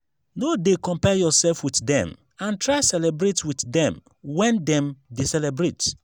no de compare yourself with dem and try celebrate with dem when dem de celebrate